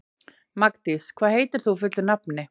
Magndís, hvað heitir þú fullu nafni?